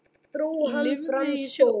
Lifði í sjó.